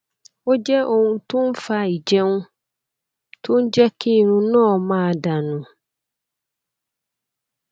ó jẹ ohun tó ń fa ìjẹun tó ń jẹ kí irun náà máa dà nù